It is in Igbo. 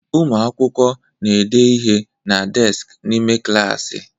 Ụmụ akwụkwọ na-ede ihe na deskị n'ime klaasị.